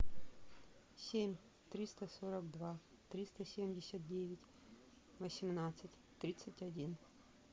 семь триста сорок два триста семьдесят девять восемнадцать тридцать один